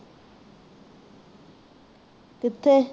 ਕਿੱਥੇ